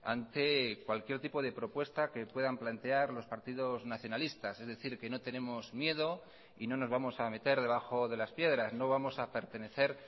ante cualquier tipo de propuesta que puedan plantear los partidos nacionalistas es decir que no tenemos miedo y no nos vamos a meter debajo de las piedras no vamos a pertenecer